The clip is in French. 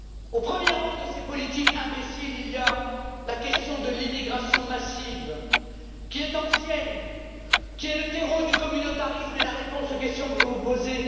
Au premier rang de ces politiques imbéciles, il y a la question de l'immigration massive qui est ancienne, qui est le terreau du communautarisme et la réponse aux questions que vous vous posez.